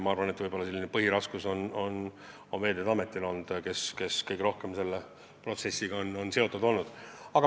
Aga põhiraskust on kandnud Veeteede Amet, kes kõige rohkem on selle protsessiga seotud olnud.